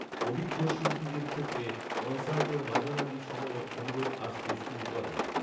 অভিজ্ঞ শিল্পীদের ক্ষেত্রে, কন্‌সার্টের মাঝামাঝি সময়ে অনুরোধ আসতে শুরু করে।